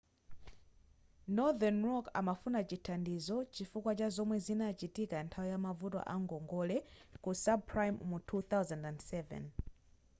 northern rock amafuna chithandizo chifukwa cha zomwe zinachitika nthawi yamavuto a ngongole ku subprime mu 2007